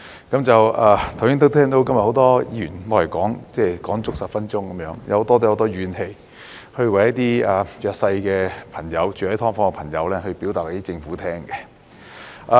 剛才很多議員都說足10分鐘，大家都有很多怨氣，為一些住在"劏房"的弱勢朋友向政府表達意見。